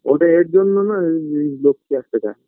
ওটাই এর জন্য না আ লোককে আসতে চায়